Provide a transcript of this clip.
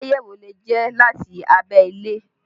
Aláyẹ̀wò lè jẹ́ láti abẹ́lé